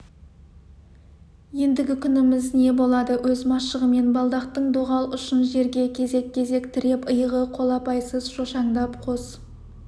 ендігі күніміз не болады өз машығымен балдақтың доғал ұшын жерге кезек-кезек тіреп иығы қолапайсыз шошаңдап қос